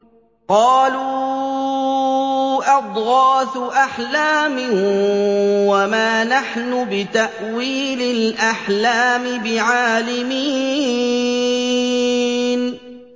قَالُوا أَضْغَاثُ أَحْلَامٍ ۖ وَمَا نَحْنُ بِتَأْوِيلِ الْأَحْلَامِ بِعَالِمِينَ